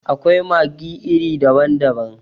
Akwai maggi iri daban daban.